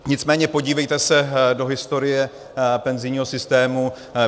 Nicméně podívejte se do historie penzijního systému.